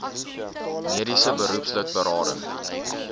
mediese beroepslid berading